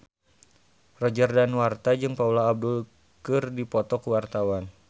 Roger Danuarta jeung Paula Abdul keur dipoto ku wartawan